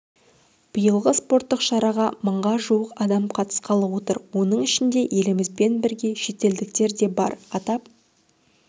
биылғы спорттық шараға мыңға жуық адам қатысқалы отыр оның ішінде елімізбен бірге шетелдіктер де бар атап